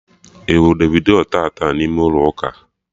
Ị hụrụ Davido taata n'ime ụlọ ụka?